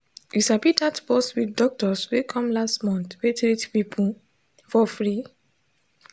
you sabi that bus with doctors wey come last month wey treat people for free.